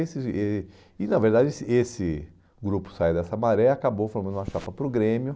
E, na verdade, esse esse grupo saiu dessa maré e acabou formando uma chapa para o Grêmio.